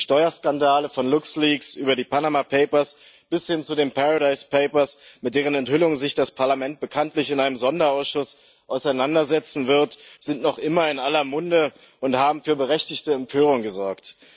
Die Steuerskandale von LuxLeaks über die Panama Papers bis hin zu den Paradise Papers, mit deren Enthüllungen das Europäische Parlament sich bekanntlich in einem Sonderausschuss auseinandersetzen wird, sind noch immer in aller Munde und haben für berechtigte Empörung gesorgt.